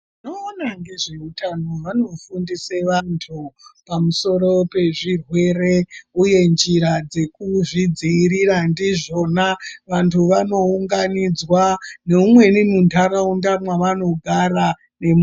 Vanoona ngezveutano vanofundise vantu pamusoro pezvirwere, uye njira dzekuzvidzivirira ndizvona. Vantu vanounganidzwa neumweni muntaraunda mavanogara nemu.